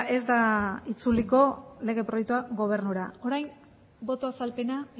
ez da itzuliko lege proiektua gobernura orain boto azalpena